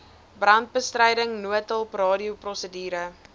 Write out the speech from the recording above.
brandbestryding noodhulp radioprosedure